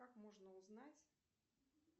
как можно узнать